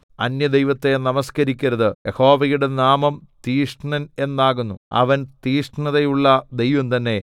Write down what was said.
അന്യദൈവത്തെ നമസ്കരിക്കരുത് യഹോവയുടെ നാമം തീക്ഷ്ണൻ എന്നാകുന്നു അവൻ തീക്ഷ്ണതയുള്ള ദൈവം തന്നെ